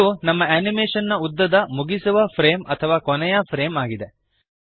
ಇದು ನಮ್ಮ ಅನಿಮೇಶನ್ ನ ಉದ್ದದ ಮುಗಿಸುವ ಫ್ರೇಮ್ ಅಥವಾ ಕೊನೆಯ ಫ್ರೇಮ್ ಆಗಿದೆ